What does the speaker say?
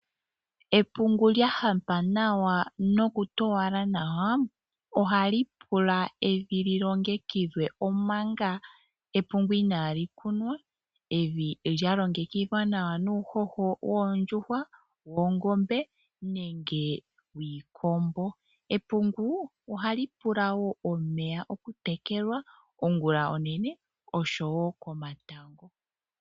Epungu lyahampa nawa nokutowala nawa, ohali pula evi lilongekidhwe omanga epungu inaali kunwa, evi lya longekidhwa nawa nuuhoho woondjuhwa, woongombe, nenge wiikombo. Epungu, ohali pula wo omeya okutekelwa ongula onene, oshowo komatango.